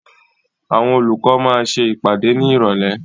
Àwọn olùkọ́ máa ṣe ìpàdé ní Ìrọ̀lẹ́.